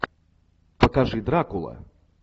покажи дракула